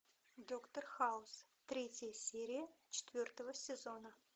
доктор хаус третья серия четвертого сезона